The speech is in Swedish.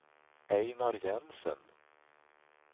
Ejnar Jensen